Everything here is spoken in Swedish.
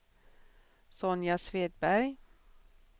Sonja Svedberg